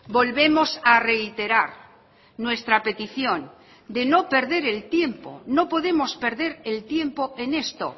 volvemos a reiterar nuestra petición de no perder el tiempo no podemos perder el tiempo en esto